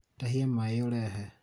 tahia maĩ ũrehe